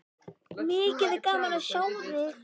Mikið er gaman að sjá þig.